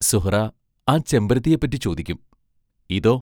സുഹ്റാ ആ ചെമ്പരത്തിയെപ്പറ്റി ചോദിക്കും: ഇതോ?